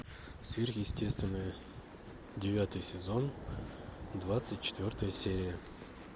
сверхъестественное девятый сезон двадцать четвертая серия